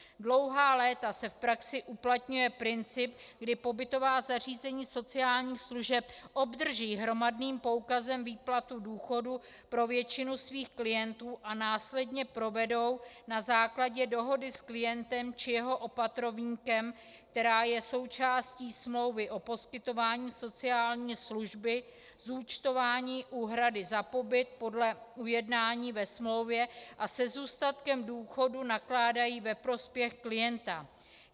Dlouhá léta se v praxi uplatňuje princip, kdy pobytová zařízení sociálních služeb obdrží hromadným poukazem výplatu důchodu pro většinu svých klientů a následně provedou na základě dohody s klientem či jeho opatrovníkem, která je součástí smlouvy o poskytování sociální služby, zúčtování úhrady za pobyt podle ujednání ve smlouvě a se zůstatkem důchodu nakládají ve prospěch klienta.